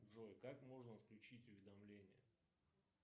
джой как можно отключить уведомления